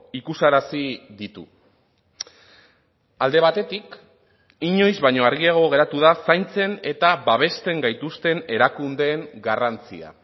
ikusarazi ditu alde batetik inoiz baino argiago geratu da zaintzen eta babesten gaituzten erakundeen garrantzia